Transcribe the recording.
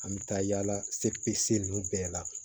An bɛ taa yala se bɛɛ la